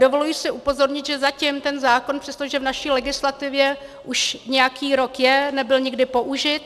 Dovoluji si upozornit, že zatím ten zákon, přestože v naší legislativě už nějaký rok je, nebyl nikdy použit.